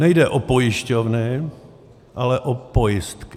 Nejde o pojišťovny, ale o pojistky.